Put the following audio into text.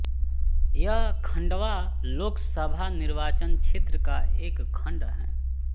यह खंडवा लोक सभा निर्वाचन क्षेत्र का एक खंड है